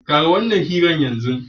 Ƙare wannan hira yanzu!